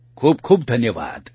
ખૂબ ખૂબ ધન્યવાદ